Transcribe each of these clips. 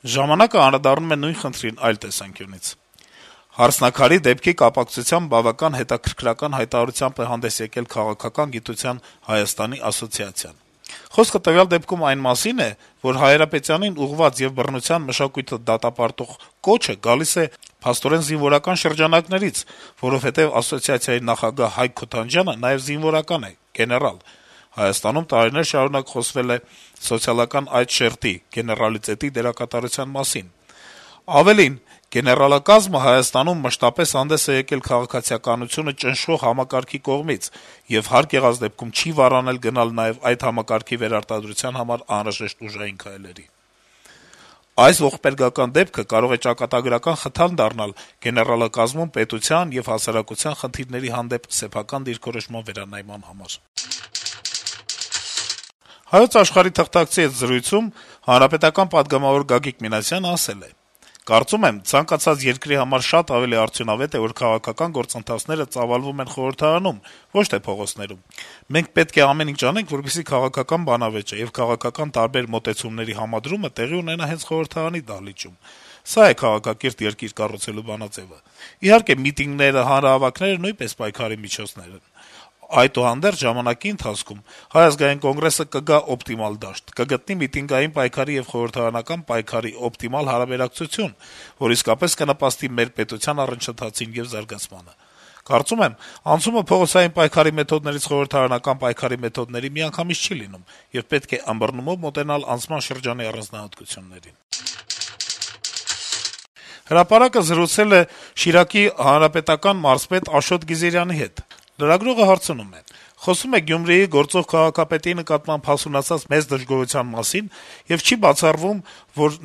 «Ժամանակ»-ը նույն խնդրին անդրադառնում է այլ տեսանկյունից. - ««Հարսնաքարի» դեպքի կապակցությամբ բավական հետաքրքրական հայտարարությամբ էր հանդես եկել Քաղաքական գիտության Հայաստանի ասոցիացիան… Խոսքն այն մասին է, որ Հայրապետյանին ուղղված եւ բռնության մշակույթը դատապարտող այդ կոչը գալիս է փաստորեն զինվորական շրջանակներից, որովհետեւ Հայկ Քոթանջյանը նաեւ զինվորական է, գեներալ: Հայաստանում տարիներ շարունակ խոսվել է սոցիալական այդ շերտի դերակատարության մասին: Ավելին` գեներալակազմը Հայաստանում մշտապես հանդես է եկել քաղաքացիականությունը ճնշող համակարգի կողմից եւ հարկ եղած դեպքում չի վարանել գնալ նաեւ այդ համակարգի վերարտադրության համար անհրաժեշտ ուժային քալերի: Այս ողբերգական դեպքը կարող է ճակատագրական խթան դառնալ գեներալակազմում պետության եւ հասարակության խնդիրների հանդեպ սեփական դիրքորոշման վերանայման համար»: «Հայոց Աշխարհ»-ի թղթակցի հետ զրույցում պատգամավոր Գագիկ Մինասյանը (ՀՀԿ) ասել է. - «Կարծում եմ, ցանկացած երկրի համար շատ ավելի արդյունավետ է, որ քաղաքական գործընթացները ծավալվում են խորհրդարանում, ոչ թե փողոցներում։ Մենք պետք է ամեն ինչ անենք, որպեսզի քաղաքական բանավեճը եւ քաղաքական տարբեր մոտեցումների համադրումը տեղի ունենա հենց խորհրդարանի դահլիճում։ Սա է քաղաքակիրթ երկիր կառուցելու բանաձեւը։ Իհարկե, միտինգները, հանրահավաքները նույնպես պայքարի միջոց են։ Այդուհանդերձ ժամանակի ընթացքում ՀԱԿ-ը կգա օպտիմալ դաշտ, կգտնի միտինգային պայքարի եւ խորհրդարանական պայքարի օպտիմալ հարաբերակցություն, որ իսկապես կնպաստի մեր պետության առաջընթացին եւ զարգացմանը։ Կարծում եմ, անցումը փողոցային պայքարի մեթոդներից խորհրդարանական պայքարի մեթոդների միանգամից չի լինում, եւ պետք է ըմբռնումով մոտենալ անցման շրջանի առանձնահատկություններին»: «Հրապարակ»-ը զրուցել է Շիրակի մարզպետ Աշոտ Գիզիրյանի հետ (ՀՀԿ): Լրագրողը հարցնում է. - «Խոսվում է գործող քաղաքապետի նկատմամբ հասունացած մեծ դժգոհության մասին, եւ չի բացառվում, որ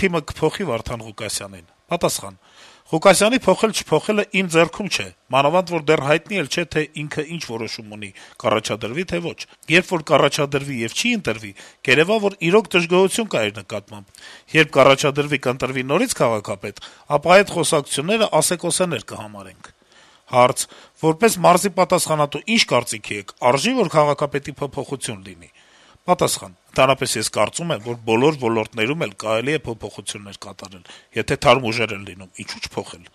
թիմը կփոխի Վարդան Ղուկասյանին»: Պատասխան. - «Ղուկասյանի փոխել-չփոխելն իմ ձեռքում չէ, մանավանդ որ դեռ հայտնի էլ չէ, թե ինքն ինչ որոշում ունի՝ կառաջադրվի՞, թե՞ ոչ: Երբ որ կառաջադրվի եւ չի ընտրվի, կերեւա, որ իրոք դժգոհություն կա իր նկատմամբ, երբ կառաջադրվի, կընտրվի նորից քաղաքապետ, ապա այդ խոսակցություններն ասեկոսեներ կհամարենք»: Հարց. - «Որպես մարզի պատասխանատու, ի՞նչ կարծիքի եք. արժե՞, որ Գյումրիում քաղաքապետի փոփոխություն լինի»: Պատասխան. - «Ընդհանրապես ես կարծում եմ, որ բոլոր ոլորտներում էլ կարելի է փոփոխություններ կատարել: Եթե թարմ ուժեր են լինում, ինչո՞ւ չփոխել»: